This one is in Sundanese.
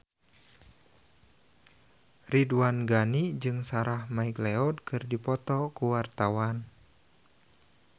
Ridwan Ghani jeung Sarah McLeod keur dipoto ku wartawan